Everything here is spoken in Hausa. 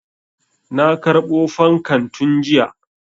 Na karɓo fankan tun jiya.